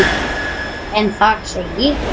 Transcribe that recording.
en þar segir